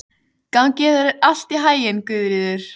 Gangi þér allt í haginn, Guðríður.